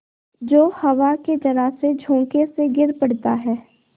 जो हवा के जरासे झोंके से गिर पड़ता है